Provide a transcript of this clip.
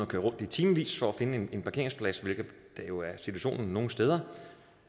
køre rundt i timevis for at finde en parkeringsplads hvilket jo er situationen nogle steder